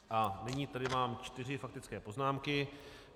A nyní tady mám čtyři faktické poznámky.